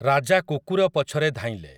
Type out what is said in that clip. ରାଜା କୁକୁର ପଛରେ ଧାଇଁଁଲେ ।